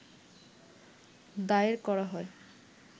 দায়ের করা হয়